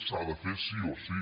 s’ha de fer sí o sí